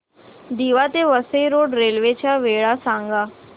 दिवा ते Vasai road railway च्या वेळा सांगा